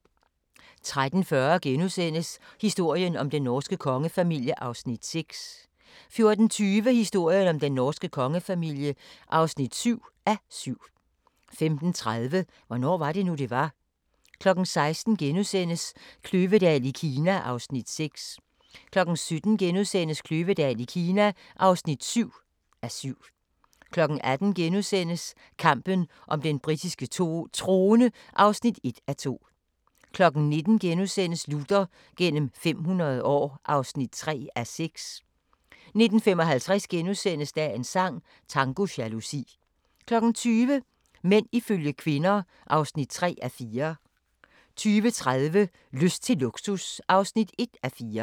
13:40: Historien om den norske kongefamilie (6:7)* 14:20: Historien om den norske kongefamilie (7:7) 15:30: Hvornår var det nu, det var? 16:00: Kløvedal i Kina (6:7)* 17:00: Kløvedal i Kina (7:7)* 18:00: Kampen om den britiske trone (1:2)* 19:00: Luther gennem 500 år (3:6)* 19:55: Dagens sang: Tango jalousi * 20:00: Mænd ifølge kvinder (3:4) 20:30: Lyst til luksus (1:4)